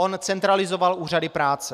On centralizoval úřady práce.